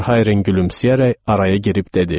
Verhayren gülümsəyərək araya girib dedi: